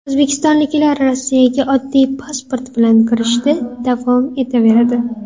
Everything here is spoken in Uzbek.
O‘zbekistonliklar Rossiyaga oddiy pasport bilan kirishda davom etaveradi.